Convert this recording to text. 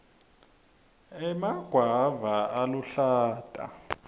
emagwava aluhlata